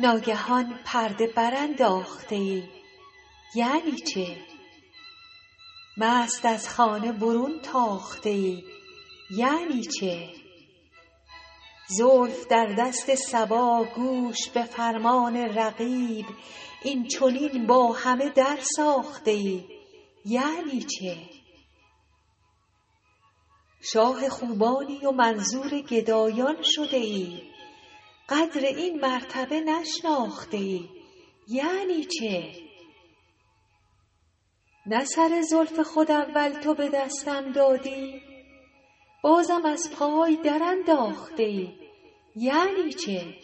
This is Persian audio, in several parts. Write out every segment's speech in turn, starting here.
ناگهان پرده برانداخته ای یعنی چه مست از خانه برون تاخته ای یعنی چه زلف در دست صبا گوش به فرمان رقیب این چنین با همه درساخته ای یعنی چه شاه خوبانی و منظور گدایان شده ای قدر این مرتبه نشناخته ای یعنی چه نه سر زلف خود اول تو به دستم دادی بازم از پای درانداخته ای یعنی چه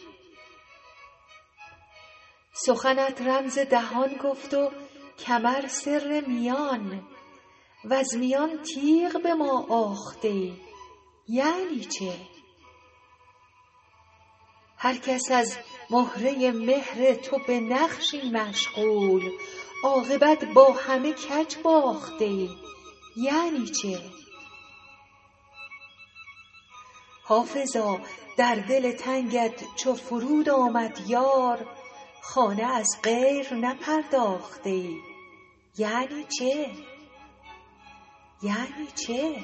سخنت رمز دهان گفت و کمر سر میان وز میان تیغ به ما آخته ای یعنی چه هر کس از مهره مهر تو به نقشی مشغول عاقبت با همه کج باخته ای یعنی چه حافظا در دل تنگت چو فرود آمد یار خانه از غیر نپرداخته ای یعنی چه